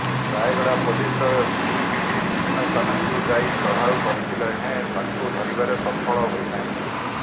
ରାୟଗଡା ପୋଲିସର ଦୁଇଟି ଟିମ୍ ବିଭିନ୍ନ ସ୍ଥାନକୁ ଯାଇ ଚଢଉ କରିଥିଲେ ହେଁ ତାକୁ ଧରିବାରେ ସଫଳ ହୋଇନାହିଁ